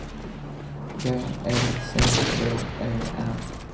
B E C K E R